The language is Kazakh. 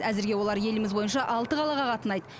әзірге олар еліміз бойынша алты қалаға қатынайды